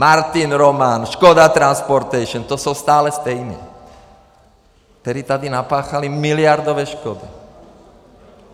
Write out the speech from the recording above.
Martin Roman, Škoda Transportation, to jsou stále stejní, kteří tady napáchali miliardové škody.